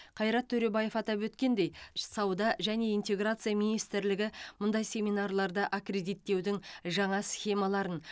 қайрат төребаев атап өткендей сауда және интеграция министрлігі мұндай семинарларды аккредиттеудің жаңа схемаларын